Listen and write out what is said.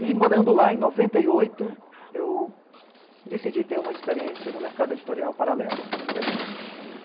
E morando lá, em noventa e oito, eu decidi ter uma experiência no mercado editorial paralelo, independente.